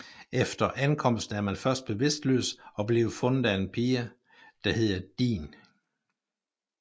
Efter ankomsten er man først bevidstløs og bliver fundet af en pige der hedder Din